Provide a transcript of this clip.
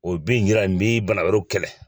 O bɛ nin yira n b'i bana wɛrɛw kɛlɛ